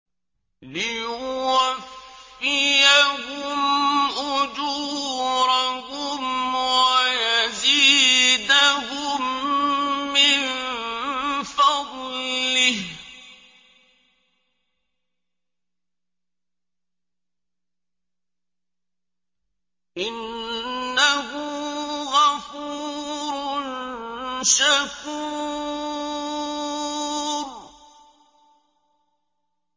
لِيُوَفِّيَهُمْ أُجُورَهُمْ وَيَزِيدَهُم مِّن فَضْلِهِ ۚ إِنَّهُ غَفُورٌ شَكُورٌ